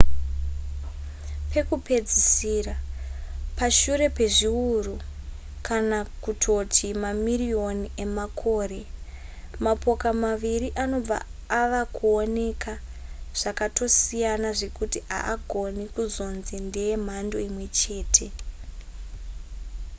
pakupedzisira pashure pezviuru kana kutoti mamiriyoni emakore mapoka maviri anobva ava kuoneka zvakatosiyana zvekuti haagone kuzonzi ndeye mhando imwe chete